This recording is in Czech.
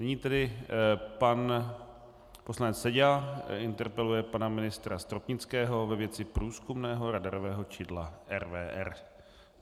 Nyní tedy pan poslanec Seďa interpeluje pana ministra Stropnického ve věci průzkumného radarového čidla RVR.